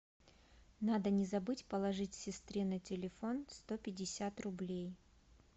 надо не забыть положить сестре на телефон сто пятьдесят рублей